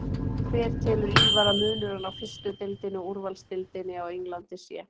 Hver telur Ívar að munurinn á fyrstu deildinni og úrvalsdeildinni á Englandi sé?